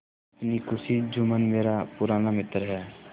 अपनी खुशी जुम्मन मेरा पुराना मित्र है